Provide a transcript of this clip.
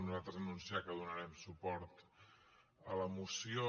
nosaltres anunciar que donarem suport a la moció